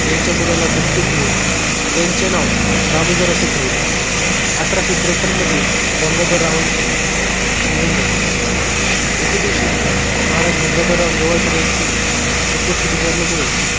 यांच्या मुलाला दत्तक घेऊन त्यांचे नाव दामोदर असे ठेवले अठराशे त्रेपान मध्ये गंगाधर रावांची निधन झाले एके दिवशी महाराज गंगाधरराव नेवाळकर यांची प्रकृती बिघडल्याने